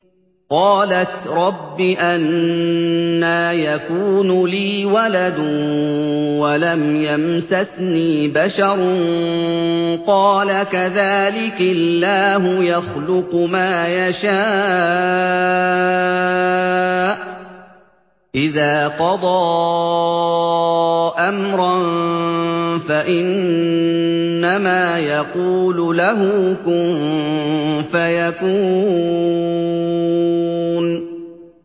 قَالَتْ رَبِّ أَنَّىٰ يَكُونُ لِي وَلَدٌ وَلَمْ يَمْسَسْنِي بَشَرٌ ۖ قَالَ كَذَٰلِكِ اللَّهُ يَخْلُقُ مَا يَشَاءُ ۚ إِذَا قَضَىٰ أَمْرًا فَإِنَّمَا يَقُولُ لَهُ كُن فَيَكُونُ